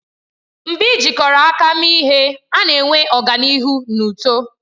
Mgbe ị jikọrọ aka mee ihe, a na-enwe ọganihu na uto